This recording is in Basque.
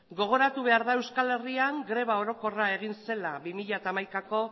gogoratu behar da euskal herrian greba orokorra egin zela bi mila hamaikako